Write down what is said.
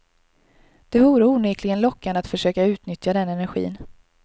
Det vore onekligen lockande att försöka utnyttja den energin.